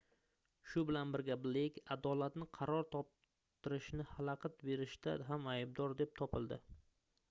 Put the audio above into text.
shu bilan birga bleyk adolatni qaror toptirishni xalaqit berishda ham aybdor deb topildi